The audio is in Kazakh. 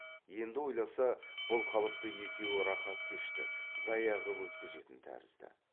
енді ойласа бұл қалыпта екеуі рақат кешті зая қып өткізетін тәрізді